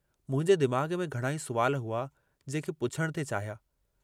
मुंहिंजे दिमाग़ में घणाई सुवाल हुआ जेके पुछण थे चाहिया।